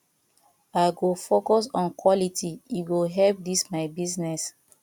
i go focus on quality e go help dis my small business